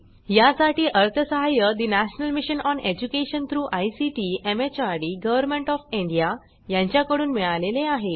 यासाठी अर्थसहाय्य national mission on education through ICT MHRD government of India यांच्याकडून मिळालेले आहे